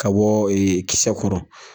Ka bɔ kisɛ kɔrɔ